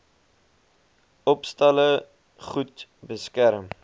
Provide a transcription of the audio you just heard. opstalle goed beskerm